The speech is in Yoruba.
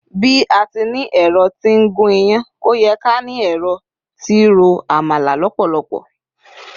bi ati ni ẹrọ ti n gun iyán, o ye ká ni ẹrọ ti ro àmàlà lópòlopò